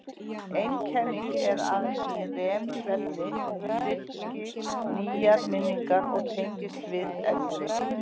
Ein kenningin er að í REM-svefni styrkist nýjar minningar og tengist við eldri.